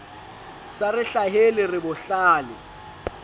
sa re hlahele re bohlale